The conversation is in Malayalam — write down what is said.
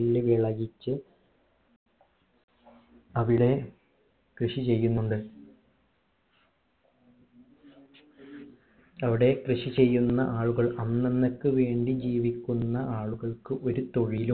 നെല്ല് വിളയിച്ചു അവിടെ കൃഷി ചെയ്യുന്നുണ്ട് അവിടെ കൃഷി ചെയ്യുന്ന ആളുകൾ അന്നന്നേക്ക് വേണ്ടി ജീവിക്കുന്ന ആളുകൾക്കു ഒരു തൊഴില്